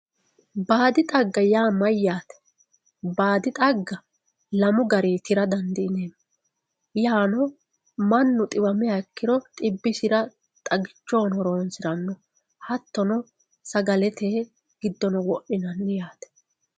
Baadi xagga yaa mayyate ,baadi xagga lamu garinni tira dandiineemmo yaanno mannu xiwamiro xibbisira xaggichoho horonsirano hattono sagalete giddono wodhinanni yaate.